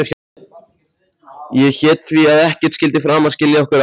Ég hét því að ekkert skyldi framar skilja okkur að.